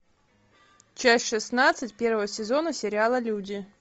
часть шестнадцать первого сезона сериала люди